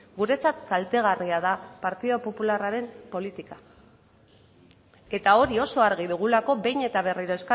guretzat kaltegarria da partidu popularraren politika eta hori oso argi dugulako behin eta berriro